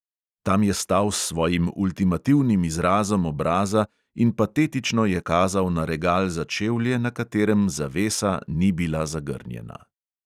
Tam je stal s svojim ultimativnim izrazom obraza in patetično je kazal na regal za čevlje, na katerem zavesa ni bila zagrnjena.